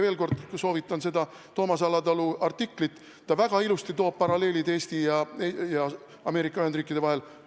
Veel kord soovitan lugeda seda Toomas Alatalu artiklit, ta toob väga ilusasti paralleele Eesti ja Ameerika Ühendriikide vahel.